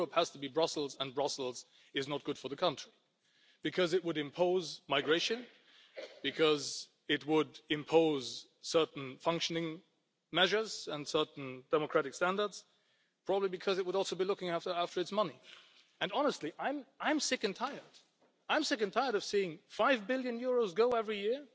Europe has to be Brussels, and Brussels is not good for the country. Because it would impose migration, because it would impose certain functioning measures and certain democratic standards, probably because it would also be looking after its money. And honestly, I am sick and tired of seeing EUR five billion go every year